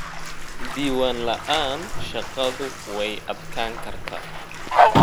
Diiwaan la'aan, shaqadu way adkaan kartaa.